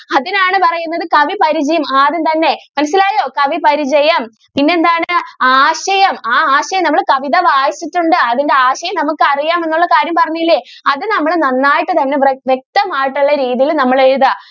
അതിനാണ് പറയുന്നത് കവി പരിചയം ആദ്യം തന്നെ മനസ്സിലായോ കവി പരിചയം പിന്നെ എന്താണ് ആശയം ആ ആശയം നമ്മൾ കവിത വായിച്ചിട്ടുണ്ട് അതിൻ്റെ ആശയം നമുക്ക് അറിയാം എന്നുള്ള കാര്യം പറഞ്ഞില്ലേ അത് നമ്മൾ നന്നായിട്ട് തന്നെ ഇവിടെ വ്യക്തം ആയിട്ട് ഉള്ള രീതിയിൽ നമ്മൾ എഴുതുക.